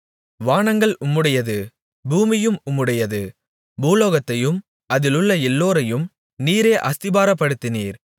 வானங்கள் உம்முடையது பூமியும் உம்முடையது பூலோகத்தையும் அதிலுள்ள எல்லோரையும் நீரே அஸ்திபாரப்படுத்தினீர்